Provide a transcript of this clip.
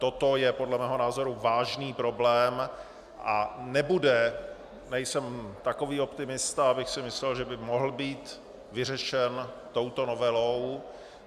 Toto je podle mého názoru vážný problém a nebude - nejsem takový optimista, abych si myslel, že by mohl být vyřešen touto novelou.